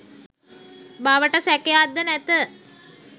බවට සැකයක් ද නැත.